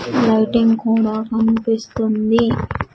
Lighting కూడా కనిపిస్తుంది.